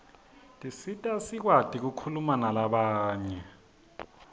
tisisita sikwati kukhuma nalabanye